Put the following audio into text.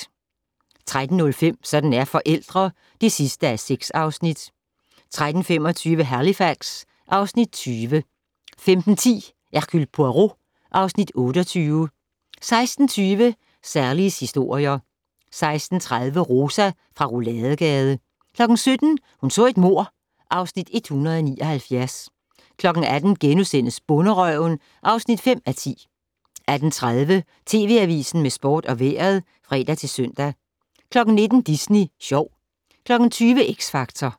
13:05: Sådan er forældre (6:6) 13:25: Halifax (Afs. 20) 15:10: Hercule Poirot (Afs. 28) 16:20: Sallies historier 16:30: Rosa fra Rouladegade 17:00: Hun så et mord (Afs. 179) 18:00: Bonderøven (5:10)* 18:30: TV Avisen med sport og vejret (fre-søn) 19:00: Disney Sjov 20:00: X Factor